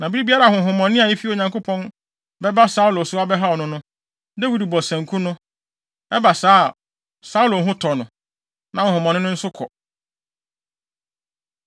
Na bere biara a honhommɔne a efi Onyankopɔn bɛba Saulo so abɛhaw no no, Dawid bɔ sanku no. Ɛba saa a, Saulo ho tɔ no, na honhommɔne no nso kɔ.